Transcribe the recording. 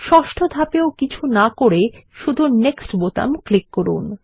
ষষ্ঠ ধাপেও কিছু না করে শুধু নেক্সট বোতাম ক্লিক করুন